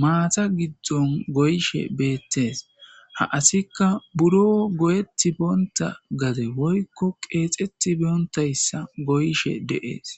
maata giddon goyshe beettees ha asikka buro goyetti boonta gade woykko qeexeti boontayssa goyshe deees.